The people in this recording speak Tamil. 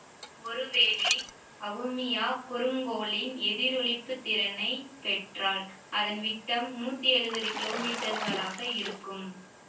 ஒருவேளை அவுமியா குறுங்கோளின் எதிரொளிப்புத் திறனைப் பெற்றால் அதன் விட்டம் நூத்தி எழுவது கிலோமீட்டர்களாக இருக்கும்